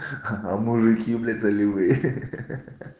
а мужики блять заливы ахаха